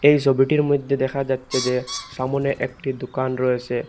এই সবিটির মধ্যে দেখা যাচ্ছে যে সামনে একটি দোকান রয়েসে।